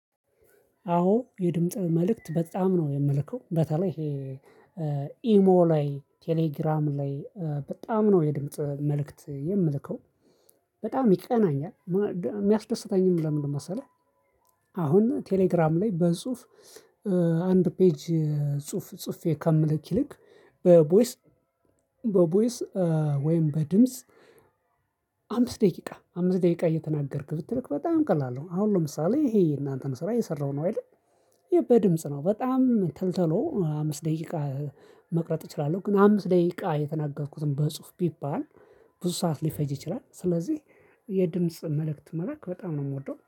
አዎ የድምጽ መልእክት በጣም ነው የምልከው በተለይ ይሄ ኢሞ ላይ ቴሌግራም ላይ በጣም ነው የድምጽ መልእክት የምልከው በጣም ይቀናኛል ሚያስደስተኝም ለምን መሰለህ። አሁን ቴሌግራም ላይ በጽሁፍ አንድ ፔጅ ጽሁፍ ጽፌ ከምልክ ይልቅ በቦይስ በቦይስ ወይም በድምጽ አምስት ደቂቃ አምስት ደቂቃ እየተናገርክ ብትልክ በጣም ቀላል ነው። አሁን ለምሳሌ ይሄ የእናንተን ስራ እየሰራው ነው አይደል? በድምጽ ነው በጣም ተልተሎ አምስት ደቂቃ መቅረጽ እችላለሁ። ግን አምስት ደቂቃ የተናገርኩትን በጽሁፍ ቢባል ብዙ ሰዓት ሊፈጅ ይችላል። ስለዚህ የድምጽ መልእክት መላክ በጣም ነው የምወደው